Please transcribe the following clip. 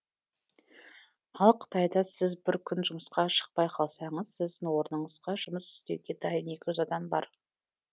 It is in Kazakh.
ал қытайда сіз бір күн жұмысқа шықпай қалсаңыз сіздің орныңызға жұмыс істеуге дайын екі жүз адам бар